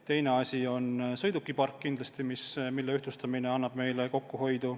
Teine asi on kindlasti sõidukipark, mille ühtlustamine annab kokkuhoidu.